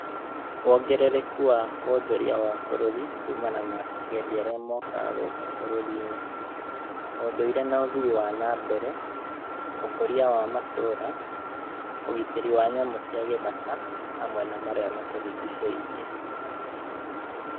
Wongerereku wa wonjoria wa bũrũri kumana na agendi arĩa mokaga gũkũ bũrũri-inĩ, ũndũire na ũthii wa nambere, ũkũria wa matũũra, ũgitĩri wa nyamu cia gĩthaka, hamwe na marĩa matũrigicĩirie.